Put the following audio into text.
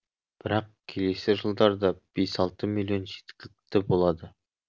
бірақ келесі жылдарда бес алты миллион жеткілікті болады